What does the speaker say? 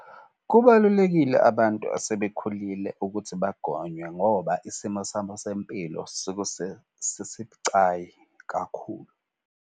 Kubalulekile abantu esebekhulile ukuthi bagonwe ngoba isimo sabo sempilo sesibucayi kakhulu.